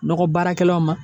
Nɔgɔ baarakɛlaw ma